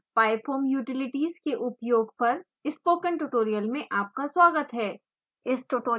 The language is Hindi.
नमस्कार pyfoam utilities के उपयोग पर स्पोकन ट्यूटोरियल में आपका स्वागत है